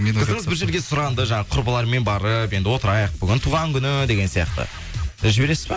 қызыңыз бір жерге сұранды жаңа құрбыларымен барып енді отырайық бүгін туған күні деген сияқты жібересіз ба